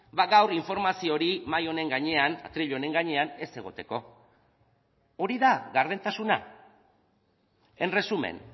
ba gaur informazio hori mahai honen gainean atril honen gainean ez egoteko hori da gardentasuna en resumen